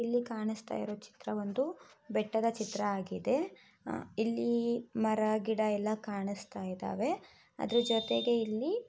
ಇಲ್ಲಿ ಕಾಣಸ್ತಾ ಇರುವ ಚಿತ್ರ ಒಂದು ಬೆಟ್ಟದ್ ಚಿತ್ರ ಆಗಿದೆ ಇಲ್ಲಿ ಮರ ಗಿಡ ಎಲ್ಲಾ ಕಾಣಸ್ತಾ ಇದ್ದಾವೆ ಅದ್ರ ಜೂತೆಗೆ ಇಲ್ಲಿ .